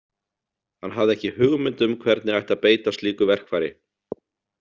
Hann hafði ekki hugmynd um hvernig ætti að beita slíku verkfæri.